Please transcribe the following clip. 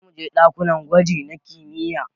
Zamuje ɗakunan gwaji na kimiyya